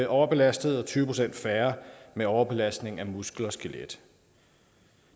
overbelastede og tyve procent færre med overbelastning af muskler og skelet